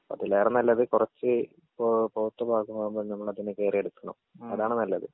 അതിലേറെ നല്ലത് കൊറച്ച് ഇപ്പോ പഴുത്ത് പാകമാവുമ്പോൾ നമ്മളതിനെ കേറി എടുക്കണം അതാണ് നല്ലത്.